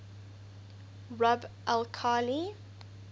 rub al khali